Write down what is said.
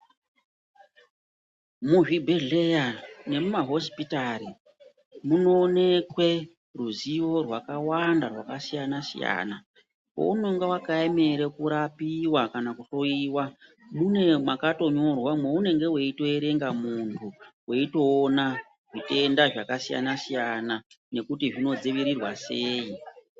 Muzvibhedhlera nemumahosipitari munoonekwe ruzivo rwakawanda rwakasiyana-siyana. Pounenge wakaemera kurapiwa kana kuhloyiwa, mune pakatonyorwa mwounenge weitoerenga muntu weitoona zvitenda zvakasiyana-siyana nekuti zvinodzivirirwa sei.